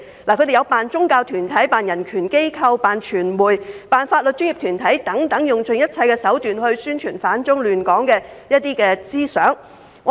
他們假扮宗教團體、人權機構、傳媒和法律專業團體等，用盡一切手段來宣傳反中亂港思想。